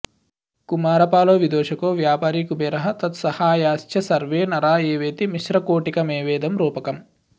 कुमारपालो विदूषको व्यापारी कुबेरः तत्सहायाश्च सर्वे नरा एवेति मिश्रकोटिकमेवेदं रूपकम्